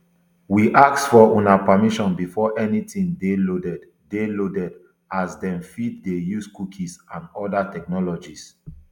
we ask for una permission before anytin dey loaded dey loaded as dem fit dey use cookies and oda technologies